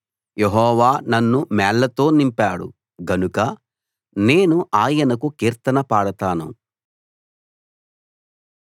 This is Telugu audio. యెహోవా నన్ను మేళ్ళతో నింపాడు గనక నేను ఆయనకు కీర్తన పాడతాను